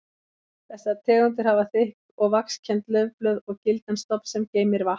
Þessar tegundir hafa þykk og vaxkennd laufblöð og gildan stofn sem geymir vatn.